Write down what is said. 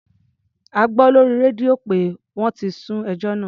A gbọ́ lórí rédíò pé wọ́n ti sún ẹjọ́ náà.